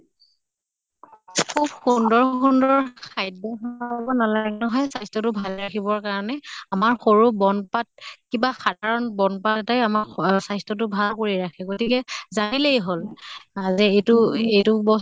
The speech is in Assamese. খুব সুন্দৰ সুন্দৰ খাদ্য় নালাগে নহয় স্বাস্থ্য়টো ভালে ৰাখিবৰ কাৰণে। আমাৰ সৰু বন পাত কিবা সাধাৰণ বন পাত এটাই আমাক স স্বাস্থ্য়টো ভাল কৰি ৰাখে। গতিকে জানিলেই হʼল আহ যে এইটো এইটো